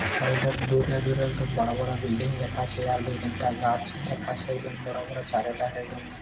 Side -এ দূরে দূরে একদম বড়ো বড়ো বিল্ডিং দেখাছে আর দু তিনটা গাছ দেখাছে একদম বড় বড় চারও ধারে গাছ ।